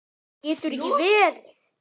Það getur ekki verið